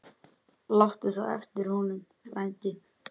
Láttu það eftir honum, frændi.